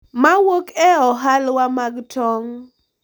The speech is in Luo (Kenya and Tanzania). Mawuok e ohawla mag tong’.